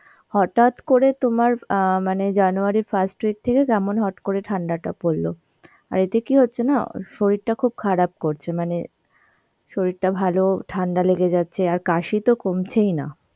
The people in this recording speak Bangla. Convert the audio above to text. হঠাৎ করে তোমার অ্যাঁ মানে January এর first week থেকে কেমন হট করে ঠান্ডাটা পরল. আর এতে কি হচ্ছে না অ শরীরটা খুব খারাপ করছে মানে শরীরটা ভালো ঠান্ডা লেগে যাচ্ছে আর কাশি তো কমছেই না.